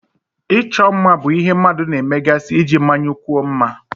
Ịchọ mma bụ ihe mmadụ na-emegasị iji mmanyekwuo mma.